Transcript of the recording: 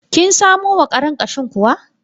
Kin samo wa karen ƙashin kuwa?